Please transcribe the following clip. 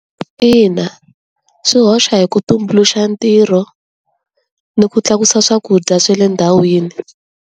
Ina swi hoxa hi ku tumbuluxa ntirho ni ku tlakusa swakudya swa le ndhawini.